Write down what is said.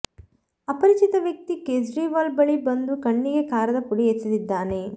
ಅಪರಿಚಿತ ವ್ಯಕ್ತಿ ಕೇಜ್ರಿವಾಲ್ ಬಳಿ ಬಂದು ಕಣ್ಣಿಗೆ ಖಾರದ ಪುಡಿ ಎಸೆದಿದ್ದಾನೆ